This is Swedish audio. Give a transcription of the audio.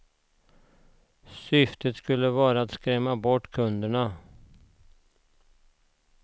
Syftet skulle vara att skrämma bort kunderna.